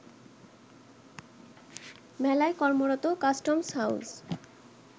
মেলায় কর্মরত customs house